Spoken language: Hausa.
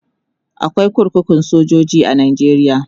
akwai kurkukun sojoji a nigeria